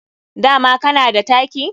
Dama kana da taki?